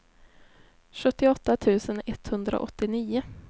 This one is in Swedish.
sjuttioåtta tusen etthundraåttionio